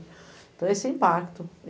Então, esse impacto.